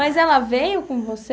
Mas ela veio com você?